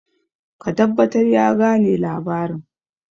ka tabbatar ya gane labarin!